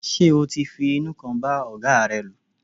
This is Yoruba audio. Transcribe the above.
Ṣé o ti ń fi inú kan bá ọ̀gáa rẹ lò.